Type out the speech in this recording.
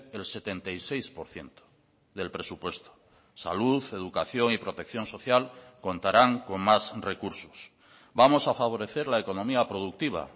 el setenta y seis por ciento del presupuesto salud educación y protección social contarán con más recursos vamos a favorecer la economía productiva